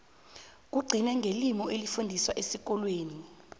kugcine ngelimi elifundiswa esikolweni